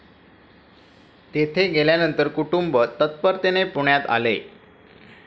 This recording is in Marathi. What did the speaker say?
तेथे गेल्यानंतर कुटुंब तत्परतेने पुण्यात आले